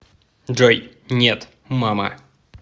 джой нет мама